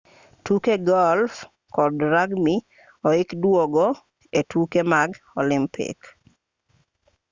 tuke golf kod rugby ohik duogo e tuke mag olympic